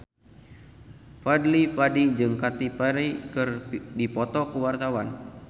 Fadly Padi jeung Katy Perry keur dipoto ku wartawan